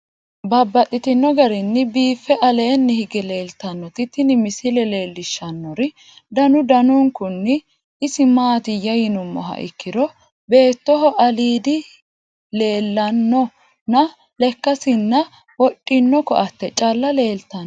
Babaxxittinno garinni biiffe aleenni hige leelittannotti tinni misile lelishshanori danu danunkunni isi maattiya yinummoha ikkiro beettoho aliidi di leellanno nna lekkasinna wodhinno koatte calla leelittanno.